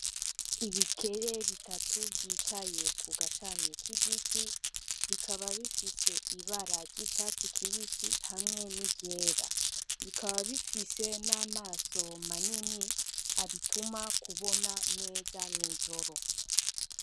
Ibikere bitatu vyicaye ku gashami k'igiti. Bikaba bifise ibara ry'icatsi kibisi, hamwe n'iryera. Bikaba bifise n'amaso manini abituma kubona neza mw'ijoro.